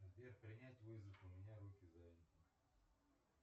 сбер принять вызов у меня руки заняты